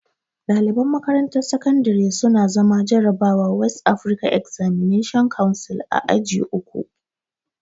Ɗaliban makarantar sakandare su na zana jarrabawar West Afrikan Examination Council a aji uku